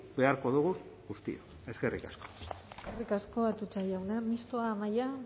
beharko dugu guztiok eskerrik asko eskerrik asko atutxa jauna mistoa amaia